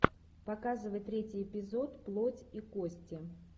показывай третий эпизод плоть и кости